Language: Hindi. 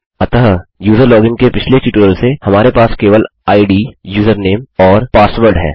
अतः यूजर लोगिन के पिछले ट्यूटोरियल से हमारे पास केवल इद यूजरनेम और पासवर्ड है